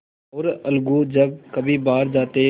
और अलगू जब कभी बाहर जाते